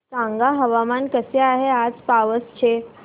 सांगा हवामान कसे आहे आज पावस चे